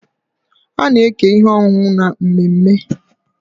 A na-eke ihe ọṅụṅụ na mmemme.